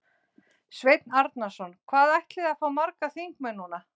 Sveinn Arnarson: Hvað ætliði að fá margar þingmenn núna?